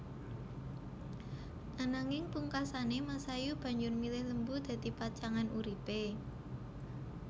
Ananging pungkasané Masayu banjur milih Lembu dadi pacangan uripé